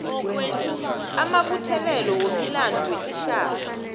amabuthelelo wemilando wesitjhaba